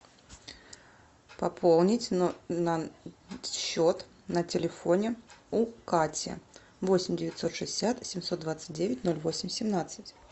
пополнить счет на телефоне у кати восемь девятьсот шестьдесят семьсот двадцать девять ноль восемь семнадцать